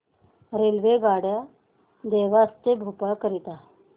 रेल्वेगाड्या देवास ते भोपाळ करीता